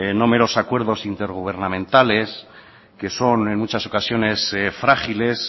no meros acuerdos intergubernamentales que son en muchas ocasiones frágiles